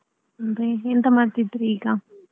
ಮತ್ತೆ ಎಂತ ಮಾಡ್ತಿದ್ರಿ ಈಗ?